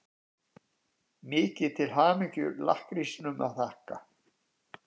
Mikið til hamingju-lakkrísnum að þakka.